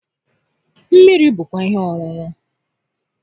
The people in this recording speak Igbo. Mmiri bụkwa ihe ọṅụṅụ